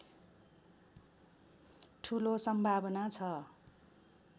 ठूलो सम्भावना छ